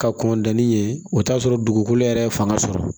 Ka kɔntan ni ye o t'a sɔrɔ dugukolo yɛrɛ ye fanga sɔrɔ